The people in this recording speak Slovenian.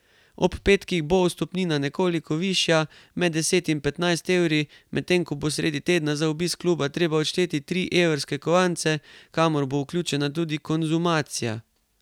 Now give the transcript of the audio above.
Ob petkih bo vstopnina nekoliko višja, med deset in petnajst evri, medtem ko bo sredi tedna za obisk kluba treba odšteti tri evrske kovance, kamor bo vključena tudi konzumacija.